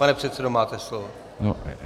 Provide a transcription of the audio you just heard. Pane předsedo, máte slovo.